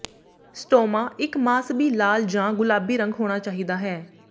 stoma ਇੱਕ ਮਾਸਬੀ ਲਾਲ ਜਾਂ ਗੁਲਾਬੀ ਰੰਗ ਹੋਣਾ ਚਾਹੀਦਾ ਹੈ